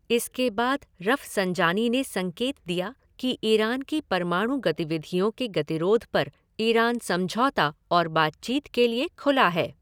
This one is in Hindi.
इसके बाद रफ़संजानी ने संकेत दिया कि ईरान की परमाणु गतिविधियों के गतिरोध पर ईरान समझौता और बातचीत के लिए खुला है।